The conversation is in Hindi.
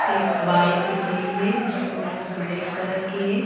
एक बाइक दिख रही है जो ब्लैक कलर की है।